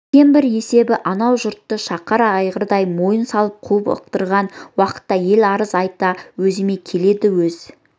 үлкен бір есебі анау жұртты шақар айғырдай мойын салып қуып ықтырған уақытта ел арыз айта өзіме келеді өз